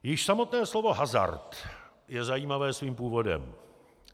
Již samotné slovo hazard je zajímavé svým původem.